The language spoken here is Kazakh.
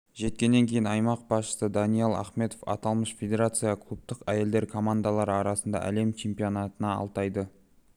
жеткеннен кейін аймақ басшысы даниал ахметов аталмыш федерацияға клубтық әйелдер командалары арасындағы әлем чемпионатына алтайды